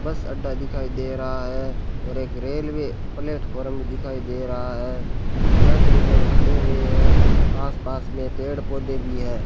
बस अड्डा दिखाई दे रहा है और एक रेलवे प्लेटफार्म में दिखाई दे रहा है कुछ यात्रीगण खड़े हुए हैं आसपास में पेड़ पौधे भी है।